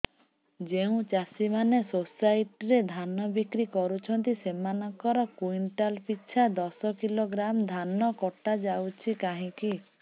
ଯେଉଁ ଚାଷୀ ମାନେ ସୋସାଇଟି ରେ ଧାନ ବିକ୍ରି କରୁଛନ୍ତି ସେମାନଙ୍କର କୁଇଣ୍ଟାଲ ପିଛା ଦଶ କିଲୋଗ୍ରାମ ଧାନ କଟା ଯାଉଛି କାହିଁକି